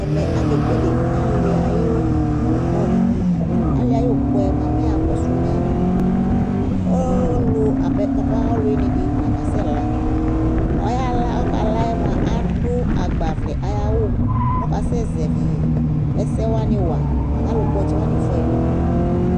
Ɛmɛ akekele alɩ ayʋ ʋkɔ dɩ Alɩ ayʋ ʋkɔ yɛ mʋa, mɛ ɛyakɔsʋ mɛ ɔ ɔlʋ apɛ papa ɔlʋwɩnɩ dɩ la kasɛla Ɔyala ɔkala yɛ mʋa, adʋ agbavlɛ ayʋ awʋ kʋ ɔkasɛzɛvɩ ɛsɛ wanɩ wa kʋ alʋkpɔ ɔtsɛ wanɩ fʋa yɩ nʋ udu